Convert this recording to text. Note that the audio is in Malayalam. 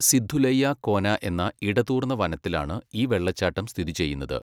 സിദ്ദുലയ്യ കോന എന്ന ഇടതൂർന്ന വനത്തിലാണ് ഈ വെള്ളച്ചാട്ടം സ്ഥിതി ചെയ്യുന്നത്.